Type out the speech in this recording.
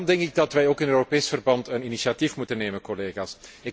Daarom denk ik dat wij ook in Europees verband een initiatief moeten nemen, collega's.